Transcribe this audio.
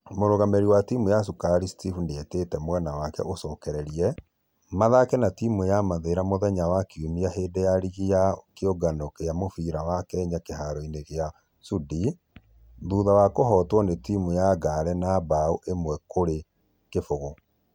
Mũrugamĩrĩri wa timũ ya cukari steph nĩetete mwena wake macokererie ,mathaka na timũ ya mathĩra muthenya wa kiumia hĩndĩ ya rigi ya kĩũngano gia mũfira kenya kĩharo-inĩ gia sudi ,thutha wa kuhotwo na timũ ya ngare na bao ĩmwe kũrĩ kĩfũgũ